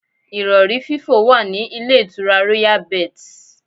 Ìrọ̀rí fífò wà ní ilé ìtura Royal Birds.